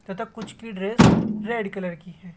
तथा कुछ की ड्रेस रेड कलर की है।